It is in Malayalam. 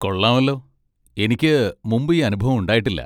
കൊള്ളാമല്ലോ. എനിക്ക് മുമ്പ് ഈ അനുഭവം ഉണ്ടായിട്ടില്ല.